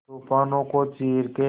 तूफानों को चीर के